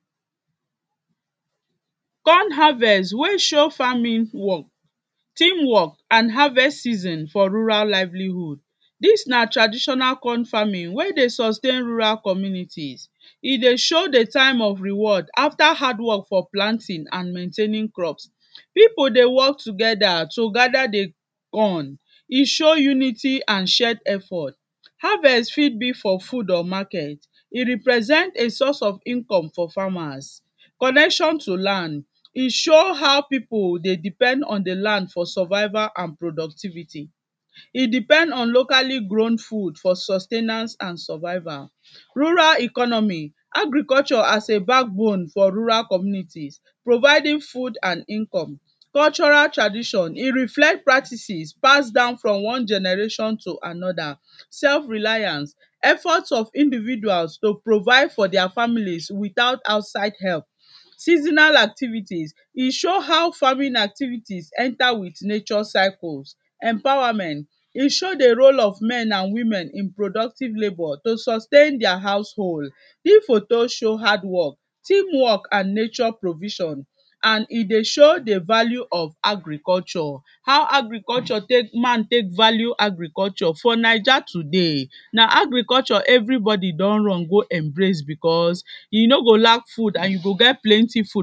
Corn harvest wey show farming work, team work and harvest season for rural livelihood. Dis na traditional corn farming wey dey sustain rural communities, e dey show di time of reward after hard work for planting and maintaining crops, pipu dey work together to gada di corn, e show unity and shared effort, harvest fit be for food or market, e represent a source of income for farmers. Connection to land, e show how pipu dey depend on di land for survival and productivity, e depend on locally grown food for sustainance and survival. Rural economy, agriculture as a back bone for rural communities providing food and income. Cultural traditions, e reflect practices passed down from one generation to anoda. Sef reliance, effort of individuals to provide for dia families without outside help. Seasonal activities, e show how farming activities enter with nature cycles. Empowerment, e show di Row of men and women in productive labour to sustain dia house hold. Dis photo show hardwork, teamwork and nature provision and e dey show di value of agriculture how agriculture man take value agriculture for Naija today na agriculture everybody don run go embrace becos you no go lack food and you go get plenty food.